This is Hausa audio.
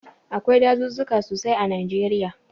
Akwai dazuzzuka sosai a Najeriya.